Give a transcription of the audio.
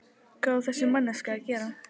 Hvað á þessi manneskja að gera?